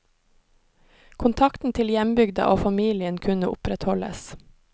Kontakten til hjembygda og familien kunne opprettholdes.